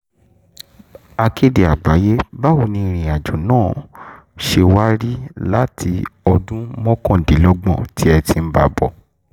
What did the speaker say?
akéde um àgbáyé báwo ni ìrìn àjò náà ṣe wá rí láti ọdún mọ́kàndínlọ́gbọ̀n tẹ́ ẹ ti ń bá a bọ̀ um